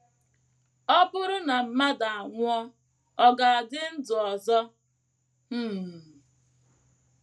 “ Ọ bụrụ na mmadụ anwụọ, ọ̀ ga - adị ndụ ọzọ? um ”